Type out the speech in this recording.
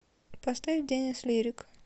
поставь денис лирик